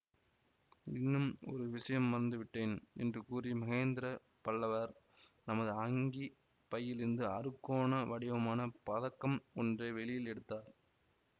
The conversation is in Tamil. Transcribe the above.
இன்னும் ஒரு விஷயம் மறந்துவிட்டேன் என்று கூறி மகேந்திர பல்லவர் தமது அங்கிப் பையிலிருந்து அறுகோண வடிவமான பதக்கம் ஒன்றை வெளியில் எடுத்தார்